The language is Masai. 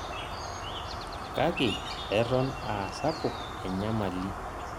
Kake eton aa sapuk enyamali